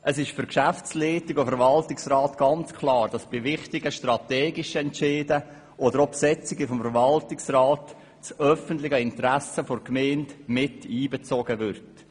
Es ist für die Geschäftsleitung und den VR ganz klar, dass bei wichtigen strategischen Entscheiden oder auch bei der Besetzung des VR das öffentliche Interesse der Gemeinde einbezogen wird.